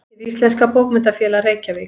Hið íslenska bókmenntafélag: Reykjavík.